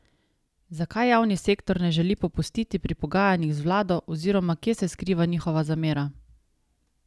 Zakaj javni sektor ne želi popustiti pri pogajanjih z vlado oziroma kje se skriva njihova zamera?